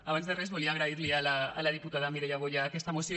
abans de res volia agrair li a la diputada mireia boya aquesta moció